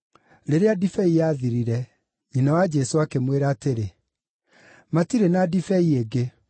Rĩrĩa ndibei yathirire, nyina wa Jesũ akĩmwĩra atĩrĩ, “Matirĩ na ndibei ĩngĩ.”